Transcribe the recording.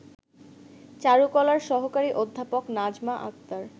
চারুকলার সহকারী অধ্যাপক নাজমা আক্তার